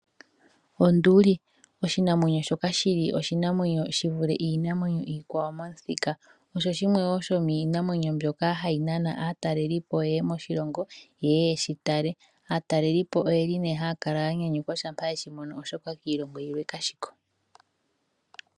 Onduli, oshinamwenyo shoka shi li oshinamwenyo shi vule iinamwenyo iikwawo momuthika, osho shimwe shomiinamwenyo wo mbyoka hayi nana aatalelipo yeye moshilongo yeye yeshi tale. Aatalelipo oyeli haya kala yanyanyukwa shampa yeshi mono oshoka kiilongo yilwe ka shiko.